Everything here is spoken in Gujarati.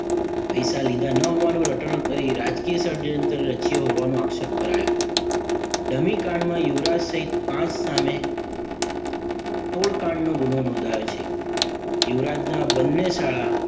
પૈસા લીધા ન હોવાનું રટણ કરી રાજકીય ષડયંત્ર રચ્યો હોવાનો આક્ષેપ કરાયો. ધમી કાંડમાં યુવરાજ સહીત પાંચ સામે તોડકાંડનો ગુનો નોંધાયો છે. યુવરાજના બંને શાળા